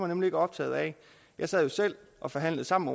nemlig ikke optaget af jeg sad jo selv og forhandlede sammen